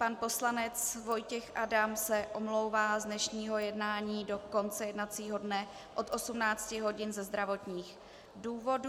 Pan poslanec Vojtěch Adam se omlouvá z dnešního jednání do konce jednacího dne od 18 hodin ze zdravotních důvodů.